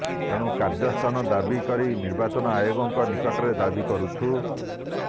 ତେଣୁ କାର୍ଯ୍ୟାନୁଷ୍ଠାନ ଦାବି କରି ନିର୍ବାଚନ ଆୟୋଗଙ୍କ ନିକଟରେ ଦାବି କରୁଛୁ